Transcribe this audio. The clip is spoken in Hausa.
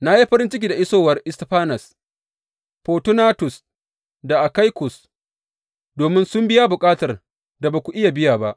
Na yi farin ciki da isowar Istifanas, Fortunatus da Akaikus, domin sun biya bukatar da ba ku iya biya ba.